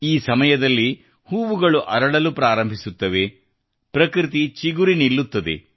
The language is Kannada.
ಈ ಸಮಯದಲ್ಲಿ ಹೂವುಗಳು ಅರಳಲು ಪ್ರಾರಂಭಿಸುತ್ತವೆ ಮತ್ತು ಪ್ರಕೃತಿಚಿಗುರಿ ನಿಲ್ಲುತ್ತದೆ